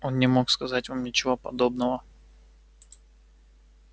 он не мог сказать вам ничего подобного